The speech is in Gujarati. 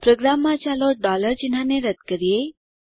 પ્રોગ્રામમાં ચાલો ચિન્હને રદ્દ કરીએ